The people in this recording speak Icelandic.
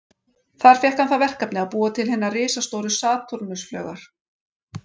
Þar fékk hann það verkefni að búa til hinar risastóru Satúrnus-flaugar.